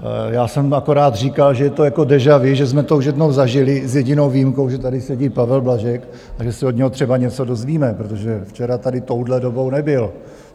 Já jsem akorát říkal, že to je jako déjà vu, že jsme to už jednou zažili, s jedinou výjimkou, že tady sedí Pavel Blažek a že se od něho třeba něco dozvíme, protože včera tady touhle dobou nebyl.